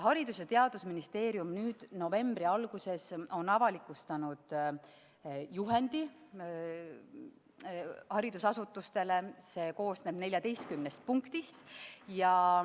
Haridus- ja Teadusministeerium on nüüd, novembri alguses, avalikustanud haridusasutustele mõeldud juhendi, mis koosneb 14 punktist.